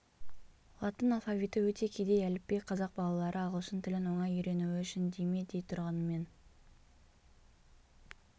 латын алфавиты өте кедей әліпби қазақ балалалары ағылшын тілін оңай үйренуі үшін дей ме дей тұрғанымен